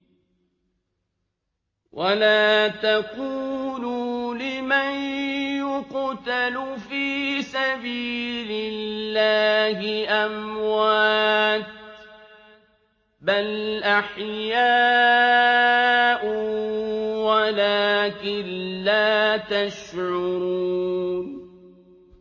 وَلَا تَقُولُوا لِمَن يُقْتَلُ فِي سَبِيلِ اللَّهِ أَمْوَاتٌ ۚ بَلْ أَحْيَاءٌ وَلَٰكِن لَّا تَشْعُرُونَ